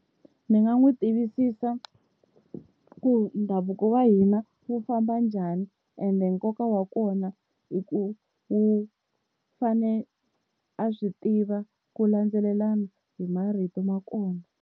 Ndzi nga n'wi tivisisa ku ndhavuko wa hina wu famba njhani, ende nkoka wa kona hi ku wu fane a swi tiva ku landzelelana hi marito ma kona.